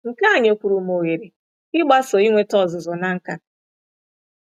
Nke a nyekwuru m ohere ịgbaso inweta ọzụzụ na nkà.